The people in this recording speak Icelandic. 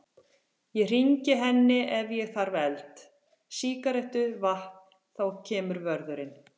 Ég hringi henni ef ég þarf eld, sígarettu, vatn. og þá kemur vörðurinn.